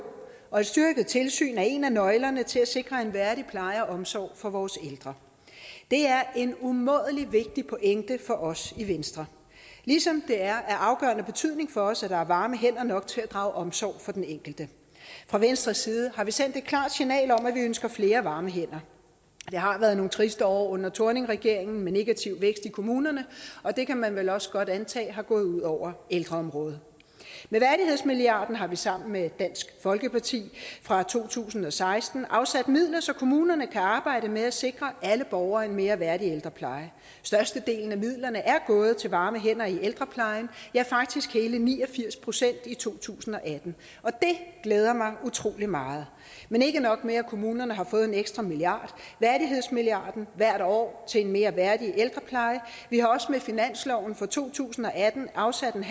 og et styrket tilsyn er en af nøglerne til at sikre en værdig pleje og omsorg for vores ældre det er en umådelig vigtig pointe for os i venstre ligesom det er af afgørende betydning for os at der er varme hænder nok til at drage omsorg for den enkelte fra venstres side har vi sendt et klart signal om at vi ønsker flere varme hænder det har været nogle triste år under thorningregeringen med en negativ vækst i kommunerne og det kan man vel også godt antage er gået ud over ældreområdet med værdighedsmilliarden har vi sammen med dansk folkeparti fra to tusind og seksten afsat midler så kommunerne kan arbejde med at sikre alle borgere en mere værdig ældrepleje størstedelen af midlerne er gået til varme hænder i ældreplejen ja faktisk hele ni og firs procent i to tusind og atten og det glæder mig utrolig meget men ikke nok med at kommunerne har fået en ekstra milliard værdighedsmilliarden hvert år til en mere værdig ældrepleje vi har også med finansloven for to tusind og atten afsat